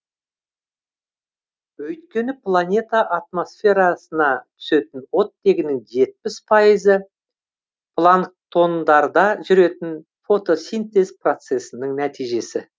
өйткені планета атмосферасына түсетін оттегінің жетпіс пайызы планктондарда жүретін фотосинтез процессінің нәтижесі